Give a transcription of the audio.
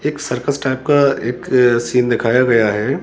एक circus type का एक सीन दिखाया गया है।